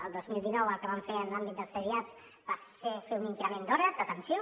el dos mil dinou el que vam fer en l’àmbit dels cdiaps va ser fer un increment d’hores d’atenció